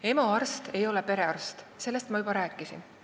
EMO arst ei ole perearst, sellest ma juba rääkisin.